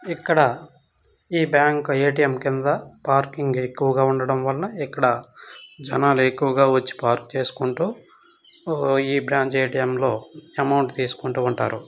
ఇక్కడ ఈ bank ATM కింద పార్కింగ్ ఎక్కువగా ఉండడం వల్ల ఇక్కడ జనాలు ఎక్కువగా వచ్చి పార్క్ చేసుకుంటూ ఓ ఏ బ్రాంచి ఎం లో అమౌంట్ తీసుకుంటూ ఉంటారు.